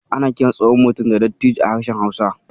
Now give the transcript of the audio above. Ana kiran tsohon mutum da "Dattijo" a harshen Hausa.